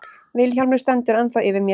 Vilhjálmur stendur ennþá yfir mér.